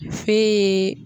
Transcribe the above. Fe